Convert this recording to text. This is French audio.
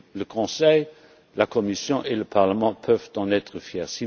fois ci. Le Conseil, la Commission et le Parlement peuvent en être